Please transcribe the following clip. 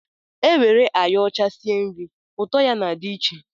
E were ayo ọcha sie nri, ụtọ ya na-adị iche